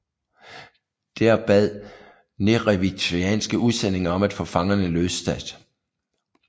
Der bad neretvianske udsendinge om at få fangerne løsladt